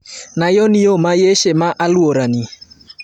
nayonYo ma Yeshe ma alwora ni